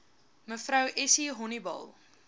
mev essie honiball